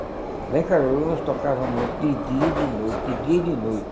Lá em Caruru nós tocava muito de dia e de noite, de dia e de noite.